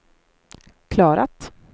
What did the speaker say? klarat